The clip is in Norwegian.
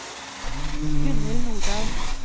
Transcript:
Gunnhild Nordahl